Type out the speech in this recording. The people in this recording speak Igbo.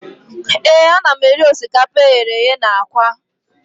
Ee, ana m eri osikapa eghere eghe na aka